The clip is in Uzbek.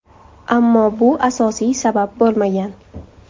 Ammo bu asosiy sabab bo‘lmagan.